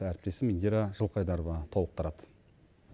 әріптесім индира жылқайдарова толықтырады